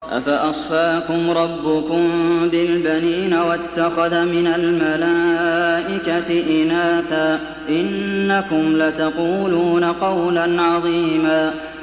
أَفَأَصْفَاكُمْ رَبُّكُم بِالْبَنِينَ وَاتَّخَذَ مِنَ الْمَلَائِكَةِ إِنَاثًا ۚ إِنَّكُمْ لَتَقُولُونَ قَوْلًا عَظِيمًا